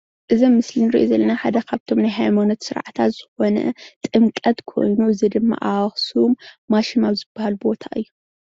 እዚ ኣብ ምስሊ እንሪኦ ዘለና ሓደ ካብ ናይ ሃይማኖት ስርዓታት ዝኮነ ጥምቀት ኮይኑ እዚ ድማ ኣብ ኣክሱም ማሹም ኣብ ዝባሃል ቦታ እዩ፡፡